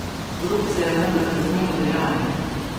Korupcija je vendar kaznivo dejanje!